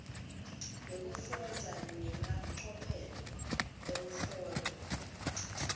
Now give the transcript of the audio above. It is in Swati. yekufundza nemacophelo ekuhlola